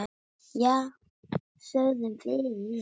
Já, sögðum við.